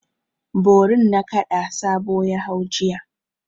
Borin nakada Sabo ya hau jiya.